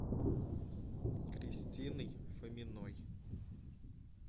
кристиной фоминой